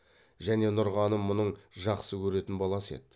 және нұрғаным мұның жақсы көретін баласы еді